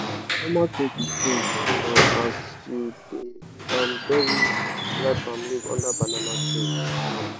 na normal tin to sing um as u da um bury dry palm leave under banana tree um